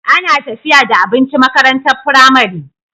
Ana tafiya da abinci makarantar pramari